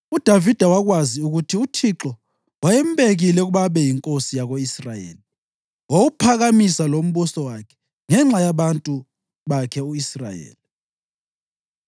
UDavida wakwazi ukuthi uThixo wayembekile ukuba abe yinkosi yako-Israyeli wawuphakamisa lombuso wakhe ngenxa yabantu bakhe u-Israyeli.